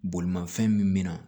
Bolimafɛn min min na